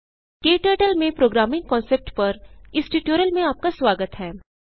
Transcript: क्टर्टल में programming concept पर इस ट्यूटोरियल में आपका स्वागत है